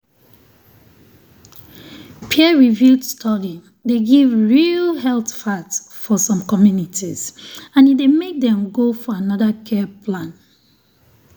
health organization dey give true medical info based on religion and e dey make people need prayer join medicine.